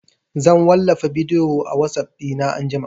Zan wallafa bidiyo a WhatsApp ɗina anjima